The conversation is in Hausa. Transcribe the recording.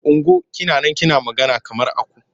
Ungo! Kina man kina magana kamar aku.